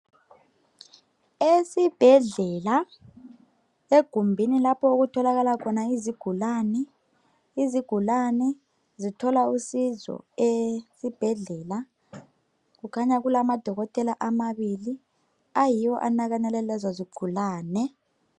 Esibhedlela egumbini lapho okutholakala khona izigulane, izigulane zithola uncedo esibhedlela kukhanya kulama dokotela amabili ayiwo anakekela lezo zigulane.